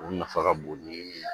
U nafa ka bon ni min ye